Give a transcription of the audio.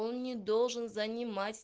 он не должен занимать